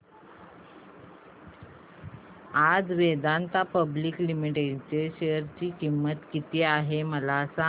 आज Vedanta public limited च्या share ची किंमत किती आहे मला सांगा